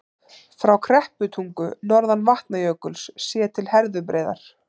Frá Krepputungu, norðan Vatnajökuls, séð til Herðubreiðar.